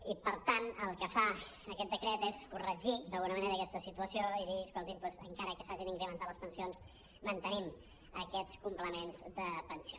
i per tant el que fa aquest decret és corregir d’alguna manera aquesta situació i dir escoltin doncs encara que s’hagin incrementat les pensions mantenim aquests complements de pensió